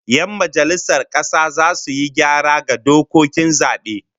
Yan majalisar kasa zasu yi gyara ga dokokin zabe